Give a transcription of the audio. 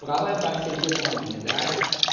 правая партия германии да